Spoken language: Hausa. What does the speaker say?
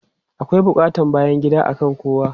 Akwai buƙatan bayan gida akan kowa.